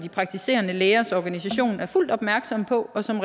praktiserende lægers organisation er fuldt ud opmærksomme på og som